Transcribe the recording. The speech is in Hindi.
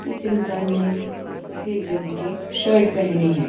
इस इंसान ने सफेद रंग की शर्ट पहनी है।